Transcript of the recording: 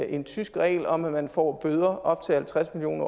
en tysk regel om at man får bøder på op til halvtreds million